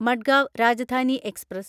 Madgaon Rajdhani express